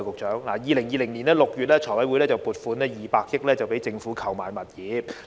在2020年6月，財務委員會通過撥款200億元讓政府購置物業。